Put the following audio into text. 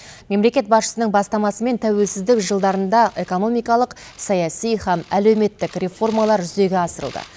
мемлекет басшысының бастамасымен тәуелсіздік жылдарында экономикалық саяси һәм әлеуметтік реформалар жүзеге асырылды